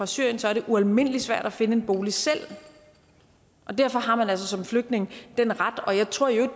syrien så er det ualmindelig svært at finde en bolig selv og derfor har man altså som flygtninge den ret ret jeg tror i øvrigt